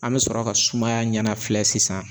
An bɛ sɔrɔ ka sumaya ɲanafilɛ sisan